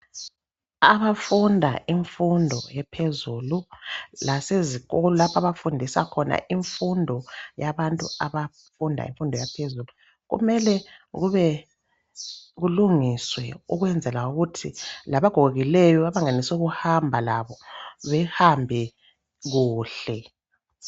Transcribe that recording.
Abafunda imfundo ephezulu lasezikolo lapha bafundisa khona imfundo yabantu abafunda imfundo yaphezulu kumele kube kulungiswe ukwenzela ukuthi labagogekileyo abangenelisukuhamba labo behambe kuhle.